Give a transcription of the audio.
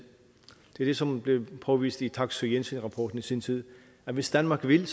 det er ligesom blevet påvist i taksøe jensen rapporten i sin tid at hvis danmark vil